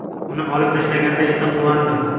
Uni olib tashlashganda esa quvondim.